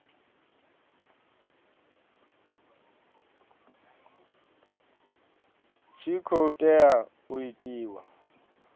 tshi khou tea u itiwa